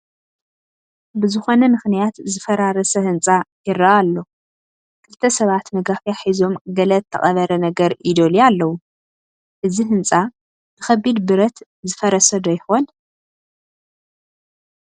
ብዝኾነ ምኽንያት ዝፈራረሰ ህንፃ ይርአ ኣሎ፡፡ ክልተ ሰባት መጋፊያ ሒዞም ገለ ተቐበረ ነገር ይደልዩ ኣለዉ፡፡ እዚ ህንፃ ብኸቢድ ብረት ዝፈረሰ ዶ ይኾን?